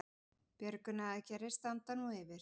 Björgunaraðgerðir standa nú yfir